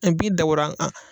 Ɛ bi dabɔra an